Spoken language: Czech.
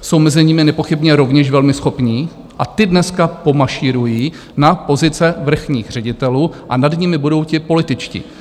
jsou mezi nimi nepochybně rovněž velmi schopní, a ti dnes pomašírují na pozice vrchních ředitelů a nad nimi budou ti političtí.